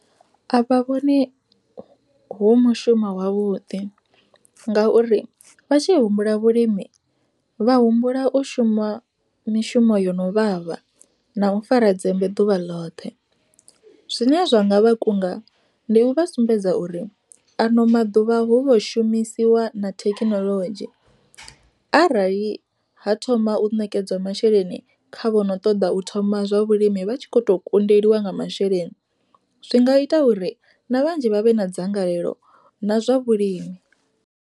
A vha vhoni hu mushumo wavhuḓi, ngauri vha tshi humbula vhulimi vha humbula u shuma mishumo yo no vhavha na u fara dzembe ḓuvha ḽoṱhe. Zwine zwa nga vha kunga, ndi u vha sumbedza uri ano maḓuvha hovho shumisiwa na thekinoḽodzhi, arali ha thoma u nekedzwa masheleni kha vhono ṱoḓa u thoma zwa vhulimi vha tshi kho to kundeliwa nga masheleni. Zwi nga ita uri na vhanzhi vha vhe na dzangalelo na zwa vhulimi.